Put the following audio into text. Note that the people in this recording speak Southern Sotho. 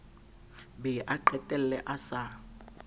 be a qetelle a sa